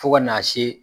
Fo ka n'a se